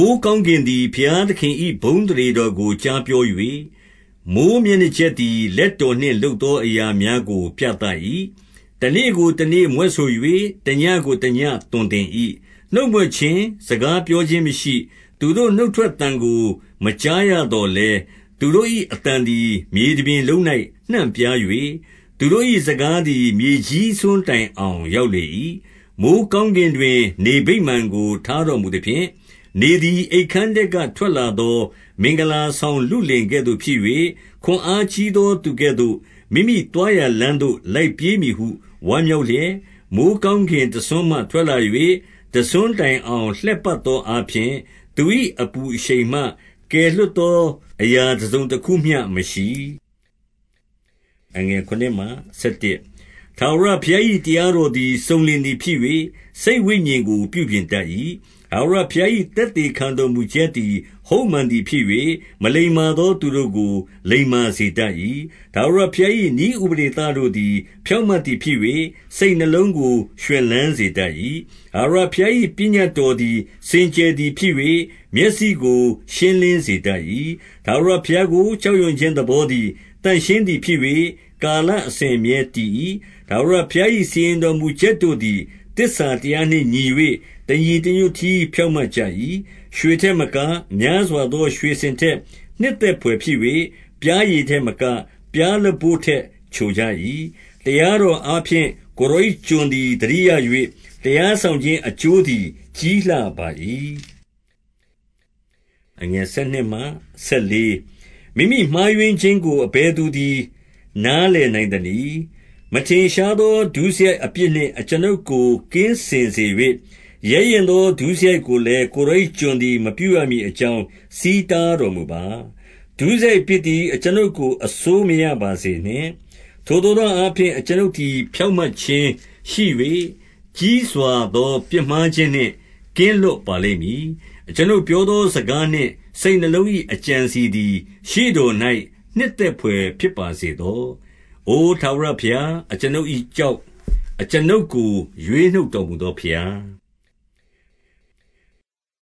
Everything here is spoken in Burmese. ိုဃ်းကောင်းကင်သည် ဘုရားသခင်၏ ဘုန်း အသရေတော်ကို ကြားပြော၍၊ မိုဃ်းမျက်နှာကြက်သည် လက်တော်နှင့်လုပ်သောအရာများကိုပြသ၏။ 2 တနေ့ကိုတနေ့မြွက်ဆို၍၊ တညဉ့်ကို တညဉ့် သွန်သင်၏။ 3 နှုတ်မြွက်ခြင်း၊ စကားပြောခြင်းမရှိ၊ သူတို့ နှုတ်ထွက်သံကို မကြားရသော်လည်း၊ 4 သူတို့၏အသံသည် မြေတပြင်လုံး၌ နှံ့ပြား၍၊ သူတို့၏စကားသည် မြေကြီးစွန်းတိုင်အောင် ရောက် လေ၏။ 5 မိုဃ်းကောင်းကင်တွင် နေဗိမာန်ကို ထားတော် မူသဖြင့်၊ နေသည် အိပ်ခန်းထဲကထွက်လာသော မင်္ဂလာ ဆောင်လုလင်ကဲ့သို့ဖြစ်၍၊ ခွန်အားကြီးသောသူကဲ့သို့ မိမိသွားရာလမ်းသို့ လိုက်ပြေးမည်ဟု ဝမ်းမြောက်လျက်၊ 6 မိုဃ်းကောင်းကင် တစွနးမှထွက်လာ၍၊ တစွန်း တိုင်အောင် လှည့်ပတ်သောအားဖြင့်၊ သူ၏အပူအရှိန်မှ ကွယ်လွတ်သောအရာ တစုံတခုမျှမရှိ။ 7 ထာဝရဘုရား၏ တရားတော်သည် စုံလင်သည် ဖြစ်၍ စိတ်ဝိညာဉ်ကို ပြုပြင်တတ်၏။ ထာဝရဘုရား၏ သက်သေခံတော်မူချက်သည် ဟုတ်မှန်သည်ဖြစ်၍ မလိမ္မာသော သူတို့ကို လိမ္မာစေတတ်၏။ 8 ထာဝရဘုရား၏ နည်းဥပဒေသတို့သည် ဖြောင့် မတ်သည် ဖြစ်၍ စိတ်နှလုံးကို ရွှင်လန်းစေတတ်၏။ ထာဝရဘုရား၏ ပညတ်တော်သည် စင်ကြယ်သည်ဖြစ်၍၊ မျက်စိကို ရှင်းလင်းစေတတ်၏။ 9 ထာဝရဘုရားကို ကြောက်ရွံ့ခြင်းသဘောသည် သန့်ရှင်းသည် ဖြစ်၍၊ ကာလအစဉ်အမြဲတည်၏။ ထာဝရ ဘုရား၏စီရင်တော်မူချက်တို့သည် သစ္စာတရားနှင့်ညီ၍၊ တညီတညွတ်တည်း ဖြောင့်မတ်ကြ၏။ 10 ရွှေထက်မက၊ များစွာသောရွှေစင်ထက် နှစ်သက်ဘွယ်ဖြစ်၍၊ ပျားရည်ထက်မက၊ ပျားလပို့ထက် ချိုကြ၏။ 11 တရားတော်အားဖြင့် ကိုယ်တော်၏ ကျွန်သည် သတိရ၍၊ တရားစောင့်ခြင်းအကျိုးသည် ကြီးလှပါ၏။ 12 မိမိမှားယွင်းခြင်းကို အဘယ်သူသည် နားလည် နိုင်သနည်း။ မထင်ရှားသော ဒုစရိုက်အပြစ်နှင့် အကျွန်ုပ် ကို ကင်းစင်စေ၍၊ 13 ရဲရင့်သော ဒုစရိုက်ကိုလည်း ကိုယ်တော်၏ ကျွန် သည် မပြုရမည်အကြောင်း ဆီးတားတော်မူပါ။ ဒုစရိုက် အပြစ်သည် အကျွန်ုပ်ကို အစိုးမရပါစေနှင့်။ ထိုသို့သော အားဖြင့် အကျွန်ုပ်သည်ဖြောင့်မတ်ခြင်းရှိ၍၊ ကြီးစွာ သောပြစ်မှားခြင်းနှင့် ကင်းလွတ်ပါလိမ့်မည်။ 14 အကျွန်ုပ်ပြောသေားစကားနှင့် စိတ်နှလုံး၏ အကြံအစည်သည် ရှေ့တော်၌ နှစ်သက်ဖွယ်ဖြစ်ပါစေ သော။ အိုထာဝရဘုရားအကျွန်ုပ်၏ ကျောက်၊ အကျွန်ုပ် ကို ရွေးနှုတ်တော်မူသောဘုရား။